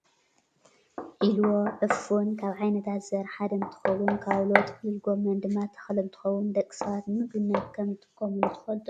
ዒልቦ /ዕፉን/ ካብ ዓይነታት ዘርኢ ሓደ እንትከውን፤ ካውሎ/ጥቅልል ጎመን/ ድማ ተክሊ እንትከውን ደቂ ሰባት ንምግብነት ከም ዝጥቀሙሉ ትፈልጡ ዶ ?